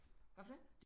Hvad for noget?